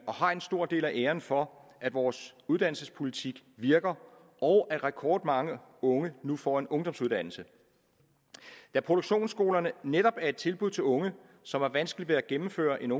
har en stor del af æren for at vores uddannelsespolitik virker og at rekordmange unge nu får en ungdomsuddannelse da produktionsskolerne netop er et tilbud til unge som har vanskeligt ved at gennemføre en